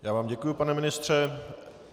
Já vám děkuji, pane ministře.